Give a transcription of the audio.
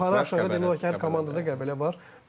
Yəni yuxarı-aşağı demək olar ki, hər komandada Qəbələ var.